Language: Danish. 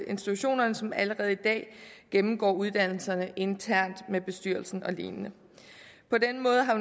institutionerne som allerede i dag gennemgår uddannelserne internt med bestyrelsen og lignende på den måde har